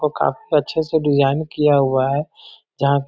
को काफी अच्छे से डिजाइन किया हुआ है जहाँ --